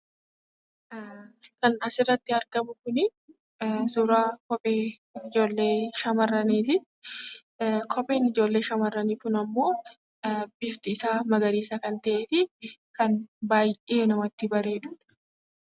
Kan asirratti argamu kun, suuraa kophee ijoollee shamarraniti. Kopheen shamarrani kun ammoo bifti isa magarisa kan ta'e fi kan baay'ee namatti bareedu.